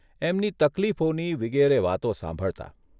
એમની તકલીફોની વિગેરે વાતો સાંભળતાં.